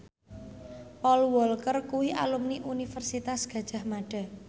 Paul Walker kuwi alumni Universitas Gadjah Mada